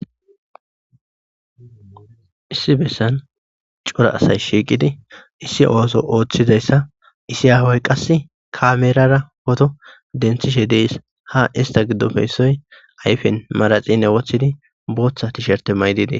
issi bessan cora asay shiiqidi issi ooso ooththidayssa isi aahoy qas kaamerara poto denthishe dees ha ista giddopeissoy ayfen maraxine wothidi booththa tisherte maydidee